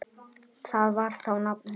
Það var þá nafnið.